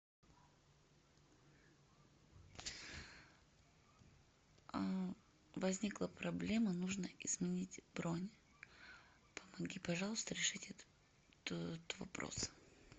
возникла проблема нужно изменить бронь помоги пожалуйста решить этот вопрос